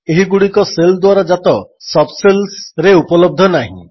ଏହିଗୁଡ଼ିକ shell ଦ୍ୱାରା ଜାତ sub ଶେଲ୍ସରେ ଉପଲବ୍ଧ ନାହିଁ